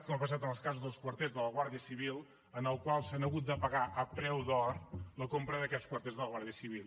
com ha passat amb els casos dels quarters de la guàrdia civil en què s’ha hagut de pagar a preu d’or la compra d’aquests quarters de la guàrdia civil